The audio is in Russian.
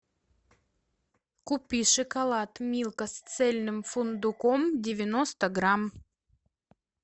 купи шоколад милка с цельным фундуком девяносто грамм